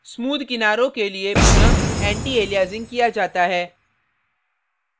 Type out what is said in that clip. smooth किनारों के लिए पुनः antialiasing किया जाता है